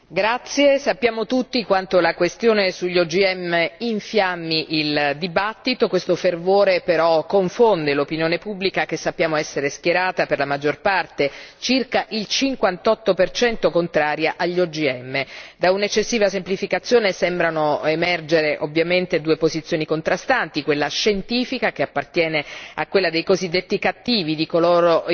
Signora Presidente, onorevoli colleghi, sappiamo tutti quanto la questione sugli OGM infiammi il dibattito, questo fervore confonde però l'opinione pubblica che sappiamo essere schierata per la maggiore parte circa il 58 contraria gli OGM. Da un'eccessiva semplificazione sembrano emergere ovviamente due posizioni contrastanti quella scientifica, che appartiene a quella dei cosiddetti di coloro